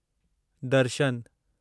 दर्शन